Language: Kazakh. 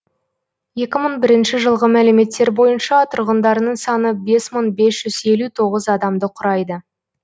екі мың бірінші жылғы мәліметтер бойынша тұрғындарының саны бес мың бес жүз елу тоғыз адамды құрайды